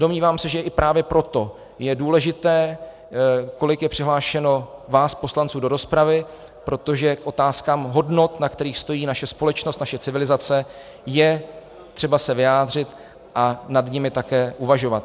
Domnívám se, že i právě proto je důležité, kolik je přihlášeno vás poslanců do rozpravy, protože k otázkám hodnot, na kterých stojí naše společnost, naše civilizace, je třeba se vyjádřit a nad nimi také uvažovat.